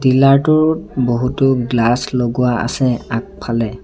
Dealer টোত বহুতো glass লগোৱা আছে আগফালে।